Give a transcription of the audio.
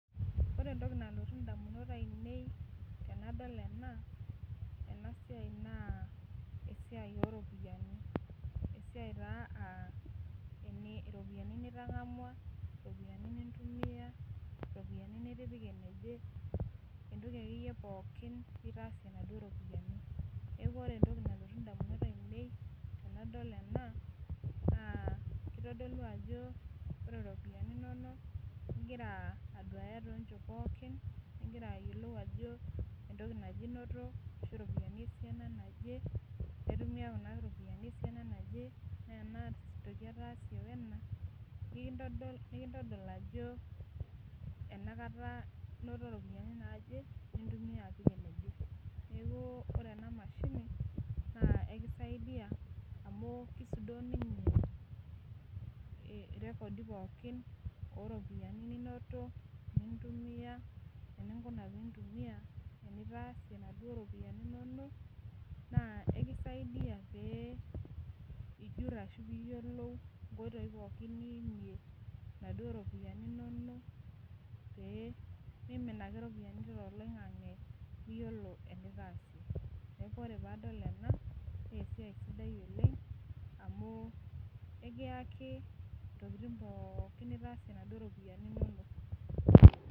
Ore entoki nalotu damunot ainei tenadol ena, ena siai naa esiai ooropiyiani. esiai taa iropiyiani nitangamua, iropiyiani, nitangamua iropiyiani nitipika ine wueji. entoki akeyie pookin nitaasie inaduoo ropiyiani. neeku ore entoki nalotu damunot ainei tenadol ena naa kitodolu ajo ore iropiyiani inonok, igira aduaay too nchoto pookiigira aduaya ajo iropiyiani inoto. esiana naje. intumia Kuna ropiyiani esiana naje, ore ena toki ena ataasie wena. ekintodol ajo, enkata inoto ropiyiani naaje, neeku ore ena mashini ekisaidia amu isudoo ninye irekodi pookin ooropiyiani ninoto, nintumia, enitaasie. ekisidai pee ijur ashu iyiolou onkoitoi pookin niimie, iropiyiani inonok. pee Mimin ake ropiyiani toloingange. liyiolo enitaasa. ore pee adol ena entoki sidai oleng amu ekiyaki entoki pookin nitaasam